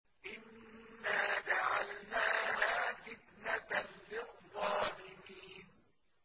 إِنَّا جَعَلْنَاهَا فِتْنَةً لِّلظَّالِمِينَ